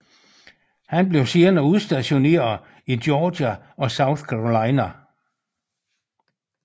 Han blev senere udstationeret i Georgia og South Carolina